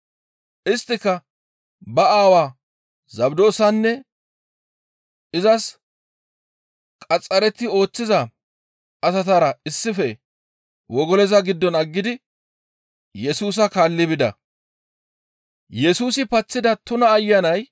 Isttika ba aawaa Zabdoosanne izas qaxxaretti ooththiza asatara issife wogoloza giddon aggidi Yesusa kaalli bida.